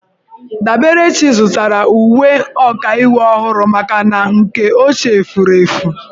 Daberechi zụtara uwe ọkaiwu ọhụrụ maka na nke ochie furu efu.